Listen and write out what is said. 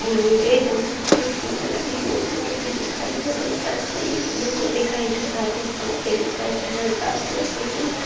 Image में दो खिड़कियां लगी बोर्ड जैसी दिखाई दे रही हैं साइड में एक ब्लू बोर्ड दिखाई दे रहा है। दो पंखे दिखाई दे रहे हैं टाइल्स लगी हुई --